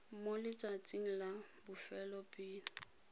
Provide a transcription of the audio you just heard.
mo letsatsing la bofelo pele